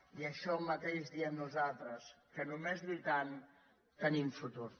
i això mateix diem nosaltres que només lluitant tenim futur